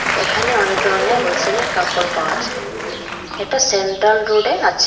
এখানে অনেক ধরনের হোলসেল এর কাপড় পাওয়া যায় এটা সেন্ট্রাল রোড এ আছে।